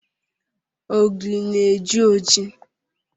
Ogiri na-eji oji